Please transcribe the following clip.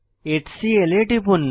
HCL এ টিপুন